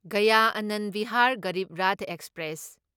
Gaya Anand Vihar Garib Rath express